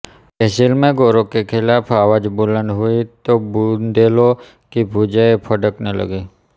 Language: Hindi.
तहसील में गोरों के खिलाफ आवाज बुलंद हुई तो बुंदेलों की भुजाएं फड़कने लगीं